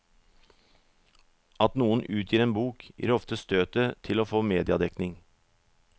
At noen utgir en bok, gir ofte støtet til å få mediedekning.